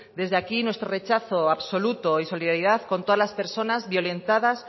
desde aquí nuestro rechazo absoluto y solidaridad con todas las personas violentadas